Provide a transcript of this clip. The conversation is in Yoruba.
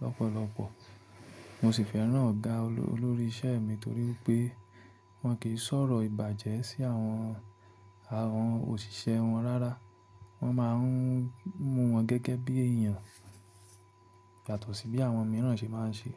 lọ́pọ̀lọpọ̀. Mo sì fẹ́ràn ọ̀gá olórí isẹ́ mi torí pé wọ́n kì í sọ̀rọ̀ ìbàjẹ́ sí àwọn, àwọn òṣìṣẹ́ wọn rárá. Wọ́n máa ń mú wọn gẹ́gẹ́ bí èèyàn yàtó sí bí àwọn mìíràn ṣe máa ń ṣe.